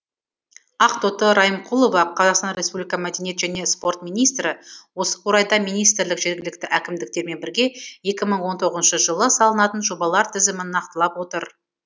ақтоты райымқұлова қазақстан республика мәдениет және спорт министрі осы орайда министрлік жергілікті әкімдіктермен бірге екі мың он тоғызыншы жылы салынатын жобалар тізімін нақтылап отыр